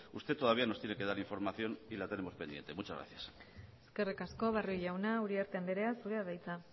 usted todavía nos tiene que dar información y la tenemos pendiente muchas gracias eskerrik asko barrio jauna uriarte andrea zurea da hitza